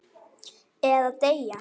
Eða deyja.